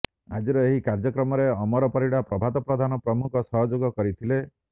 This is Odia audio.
ଆଜିର ଏହି କାର୍ଯ୍ୟକ୍ରମରେ ଅମର ପରିଡା ପ୍ରଭାତ ପ୍ରଧାନ ପ୍ରମୁଖ ସହଯୋଗ କରିଥିଲେ